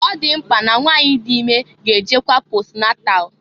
Ọ dị mkpa na nwanyị dị ime ga-ejekwa posnatal.